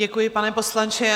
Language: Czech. Děkuji, pane poslanče.